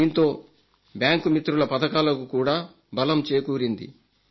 దీంతో బ్యాంకు మిత్రుల పథకాలకు కూడా బలం చేకూరింది